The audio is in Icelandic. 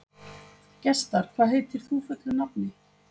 Gestar, hvað heitir þú fullu nafni?